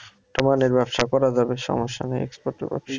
ব্যবসা করা যাবে সমস্যা নাই export এর ব্যবসা ও।